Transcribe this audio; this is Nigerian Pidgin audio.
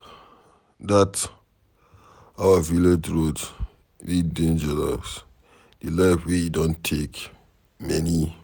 Dat our village road dey dangerous. The life wey e don take many.